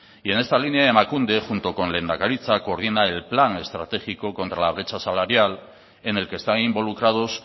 y en esta línea emakunde junto con lehendakaritza coordina el plan estratégico contra la brecha salarial en el que están involucrados